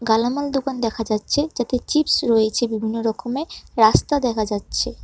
কালামাল দোকান দেখা যাচ্ছে যাতে চিপস্ রয়েছে বিভিন্ন রকমের রাস্তা দেখা যাচ্ছে।